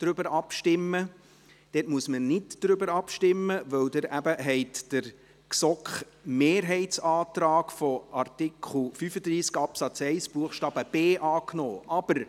Darüber muss man nicht abstimmen, weil Sie den GSoK-Mehrheitsantrag zu Artikel 35 Absatz 1 Buchstabe b angenommen haben.